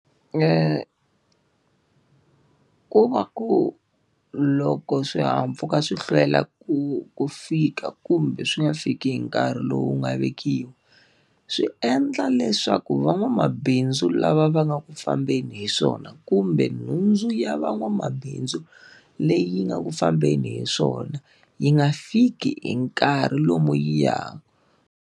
Ku va ku loko swihahampfhuka swi hlwela ku ku fika kumbe swi nga fiki hi nkarhi lowu nga vekiwa, swi endla leswaku van'wamabindzu lava va nga ku fambeni hi swona kumbe nhundzu ya van'wamabindzu, leyi nga ku fambeni hi swona yi nga fiki hi nkarhi lomu yi .